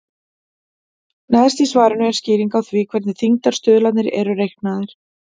Neðst í svarinu er skýring á því hvernig þyngdarstuðlarnir eru reiknaðir.